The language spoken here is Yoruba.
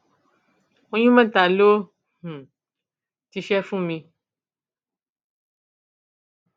oyún mẹta ló um ti ṣe fún mi